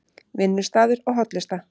Vinnustaður og hollusta